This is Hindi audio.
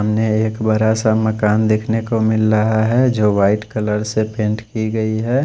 सामने एक बड़ा सा मकान देख ने को मिल रहा है जो वाइट कलर से पैंट की गयी है।